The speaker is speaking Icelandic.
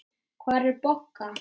Hvar er Bogga?